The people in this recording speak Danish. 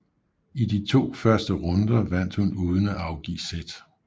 I de to første runder vandt hun uden at afgive sæt